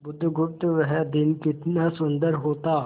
बुधगुप्त वह दिन कितना सुंदर होता